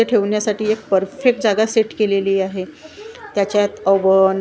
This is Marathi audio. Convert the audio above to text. ते ठेवण्यासाठी एक परफेक्ट जागा सेट केलेली आहे त्याच्यात अवन --